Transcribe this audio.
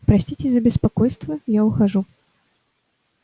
простите за беспокойство я ухожу